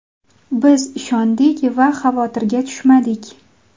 Biz ishondik va xavotirga tushmadik.